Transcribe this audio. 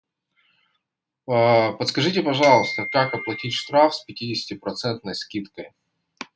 подскажите пожалуйста как оплатить штраф с пятидесяти процентной скидкой